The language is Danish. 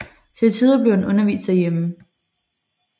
Til tider blev han undervist hjemme